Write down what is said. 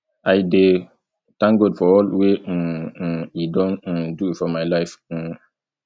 i dey thank god for all wey um um e don um do for my life um